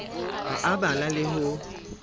ha a bala le ho